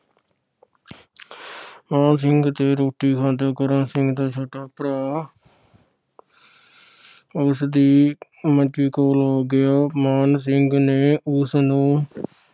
ਮਾਣ ਸਿੰਘ ਦੇ ਰੋਟੀ ਖਾਂਦਿਆਂ ਕਰਮ ਸਿੰਘ ਦਾ ਛੋਟਾ ਭਰਾ ਉਸਦੀ ਮੰਜੀ ਕੋਲ ਆ ਗਿਆ। ਮਾਣ ਸਿੰਘ ਨੇ ਉਸਨੂੰ